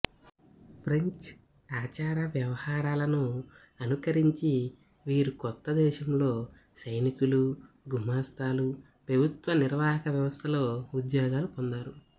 French ఆచార వ్యవహారాలను అనుకరించి వీరు కొత్త దేశంలో సైనికులు గుమాస్తాలు పెభుత్వ నిర్వాహక వ్యవస్థలో ఉద్యోగాలు పొందారు